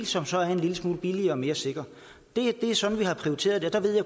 som så er en lille smule billigere og mere sikker det er sådan vi har prioriteret jeg ved